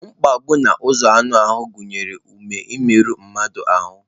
Mgbegbu n'ụzọ anụ ahụ gụnyere ụma imerụ mmadụ ahụ́